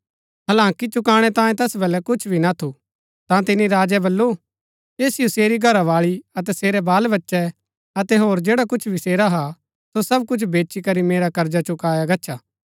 हालांकि चुकाणै तांयें तैस बलै कुछ भी ना थु ता तिनी राजै बल्लू ऐसिओ सेरी घरावाळी अतै सेरै बाल बच्चै अतै होर जैडा कुछ भी सेरा हा सो सब कुछ बेचीकरी मेरा कर्जा चुकाया गच्छा